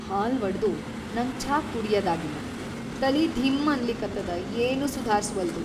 ಹಾಲ್‌ ವಡದು ನಂಗ್ ಛಾ ಕುಡ್ಯದಾಗಿಲ್ಲ, ತಲಿ ಧೀಂ ಅನ್ಲಿಕತ್ತದ ಏನೂ ಸುಧಾರ್ಸವಲ್ದು.